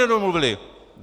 Nedomluvili?